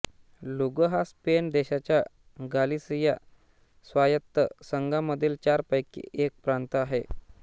लुगो हा स्पेन देशाच्या गालिसिया स्वायत्त संघामधील चारपैकी एक प्रांत आहे